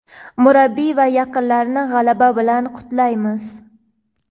murabbiy va yaqinlarini g‘alaba bilan qutlaymiz!.